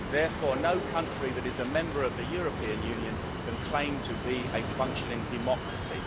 Therefore no country that is a member of the European Union can claim to be a functioning democracy.